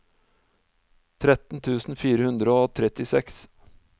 tretten tusen fire hundre og trettiseks